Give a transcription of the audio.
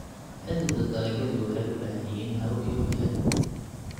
Xididda dalagyadu waxay u baahan yihiin hawo iyo qoyaan.